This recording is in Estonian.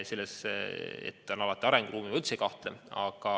Selles, et alati on arenguruumi, ma üldse ei kahtle.